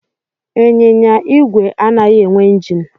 Ịnyịnya igwe anaghị enwe injin.